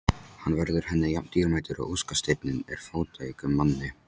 Hann verður henni jafn dýrmætur og óskasteinninn er fátækum manni.